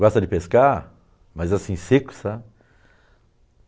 Gosta de pescar, mas assim, seco, sabe?